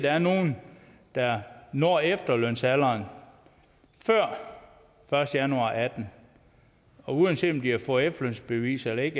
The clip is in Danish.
er nogle der når efterlønsalderen før første januar og atten og uanset om de har fået efterlønsbevis eller ikke